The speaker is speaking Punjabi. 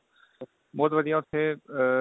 ਬਹੁਤ ਵਧੀਆ ਉੱਥੇ ਆ